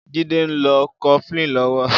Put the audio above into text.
Jide n ló kọ̀flin lọ̀wọ̀